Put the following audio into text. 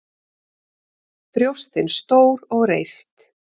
Brjóstin stór og reist.